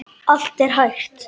Allt er hægt!